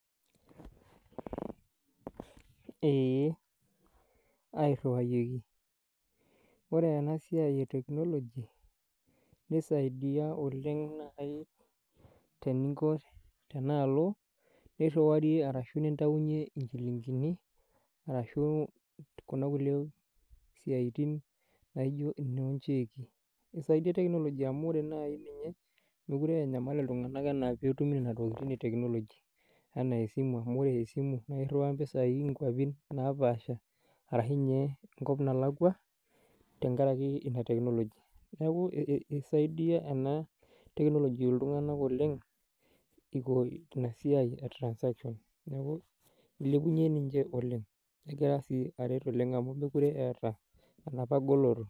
Eeh airriwayieki ore ena siai e technology nisaidia oleng naai teninko tenaalo nirriwarie arashu nintaunyie inchilingini arashu kuna kulie siaitin naijo inoo incheki eisaidia technology amu ore naai ninye mekure enyamal iltung'anak enaa petumi nena tokiting e technology enaa esimu amu ore esimu naa irriwaa iropiani inkuapin napaasha arashu inye enkop nalakua tenkarake ina technology niaku ei isaidia ena technology iltung'anak oleng iko ina siai e transaction neku ilepunyie ninche oleng negira sii aret oleng amu mekure eeta enapa goloto.